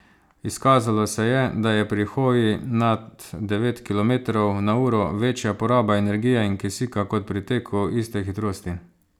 Izkazalo se je, da je pri hoji nad devet kilometrov na uro večja poraba energije in kisika kot pri teku iste hitrosti.